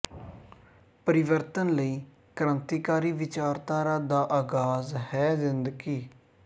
ਪਰਿਵਰਤਨ ਲਈ ਕ੍ਰਾਂਤੀਕਾਰੀ ਵਿਚਾਰਧਾਰਾ ਦਾ ਆਗਾਜ਼ ਹੈ ਜ਼ਿੰਦਗੀ